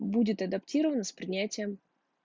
будет адаптирован с принятием